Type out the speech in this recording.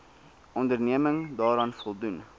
onderneming daaraan voldoen